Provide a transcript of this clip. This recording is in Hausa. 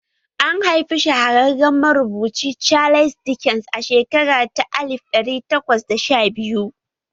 An haifi shahararren marubuci Charles Dickens a shekara ta alif ɗari takwas da sha biyu